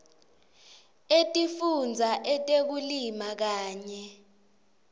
etifundza etekulima kanye